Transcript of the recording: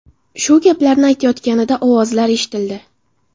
Shu gaplarni aytayotganida ovozlar eshitildi.